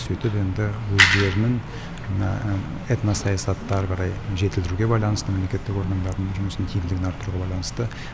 сөйтіп енді өздерінің мына этносаясатты ары қарай жетілдіруге байланысты мемлекеттік органдардың жұмысының тиімділігін арттыруға байланысты